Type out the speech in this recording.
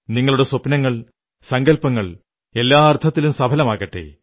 നിങ്ങളുടെ സ്വപ്നങ്ങൾ സങ്കല്പങ്ങൾ എല്ലാ അർഥത്തിലും സഫലമാകട്ടെ